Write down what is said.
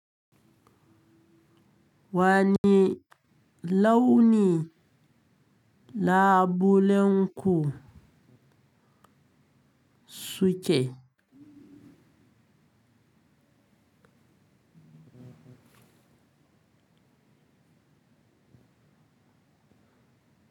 Wane launi labulenku suke?